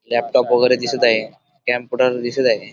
Laptop वगैरे दिसत आहे कम्प्युटर दिसत आहे.